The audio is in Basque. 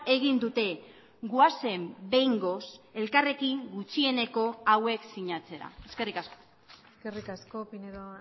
egin dute goazen behingoz elkarrekin gutxieneko hauek sinatzera eskerrik asko eskerrik asko pinedo